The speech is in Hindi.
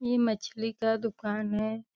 ये मछली का दुकान है।